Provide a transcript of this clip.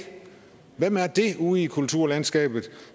er ude i kulturlandskabet